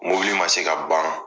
Mobili man se ka ban.